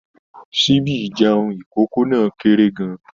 Síbí ìjeun ikókó náà kéré gán-an